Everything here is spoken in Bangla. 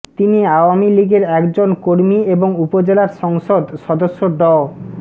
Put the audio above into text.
তিনি আওয়ামী লীগের একজন কর্মী এবং উপজেলার সংসদ সদস্য ড